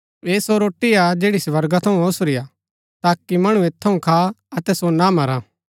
ऐह सो रोटी हा जैड़ी स्वर्गा थऊँ ओसुरी हा ताकि मणु ऐत थऊँ खा अतै सो ना मरा